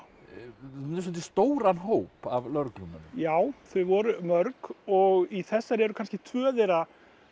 með svolítið stóran hóp af lögreglumönnum já þau voru mörg og í þessari eru kannski tvö þeirra